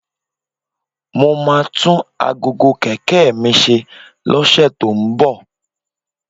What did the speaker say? Mo máa tún aago kẹ̀kẹ́ mi ṣe lọ́sẹ̀ tó ń bọ̀